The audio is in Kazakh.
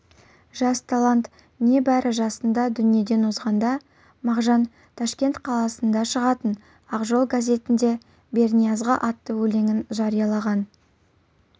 жас талант небары жасында дүниеден озғанда мағжан ташкент қаласында шығатын ақжол газетінде берниязға атты өлеңін жариялаған